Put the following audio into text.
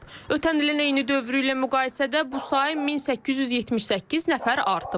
Ötən ilin eyni dövrü ilə müqayisədə bu sayı 1878 nəfər artıb.